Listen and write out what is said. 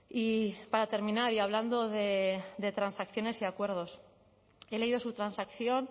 y para terminar y hablando de transacciones y acuerdos he leído su transacción